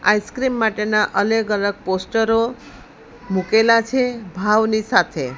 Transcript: Ice cream માટેના અલેગ અલગ પોસ્ટરો મુકેલા છે ભાવની સાથે.